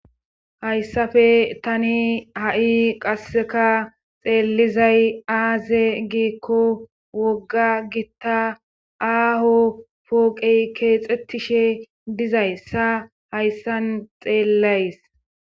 hayssafe tani ha7i qasseka xeellizay aaze giikko wogga gitta aaho pooqey keexetishe dizayssa hayssan xeellays